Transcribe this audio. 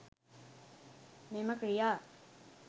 මෙම ක්‍රියා